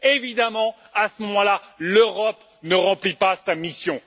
Évidemment, à ce moment là, l'Europe ne remplit pas sa mission.